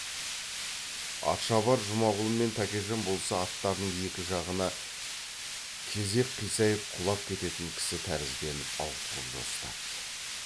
атшабар жұмағұл мен тәкежан болса аттарының екі жағына кезек қисайып құлап кететін кісі тәрізденіп ауытқып жосытады